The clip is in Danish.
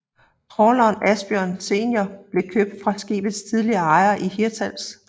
Trawleren Asbjørn Senior blev købt fra skibets tidligere ejere i Hirtshals